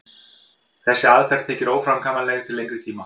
þessi aðferð þykir óframkvæmanleg til lengri tíma